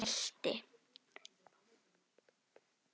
Jón mælti